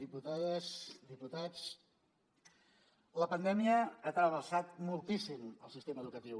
diputades diputats la pandèmia ha trasbalsat moltíssim el sistema educatiu